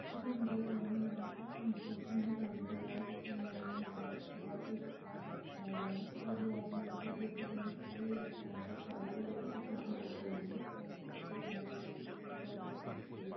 देखिए हम देख रहे है यहाँ पर कंट्रक्शन का काम चल रहा है जो कि नया-नया घरा घर एक करा गया है यहाँ पे दो आदमी बैठे है जो शायद मिस्त्री या नौकर कारीगर जो कि काम करते होंगे यहाँ पर पीछे एक घर है। --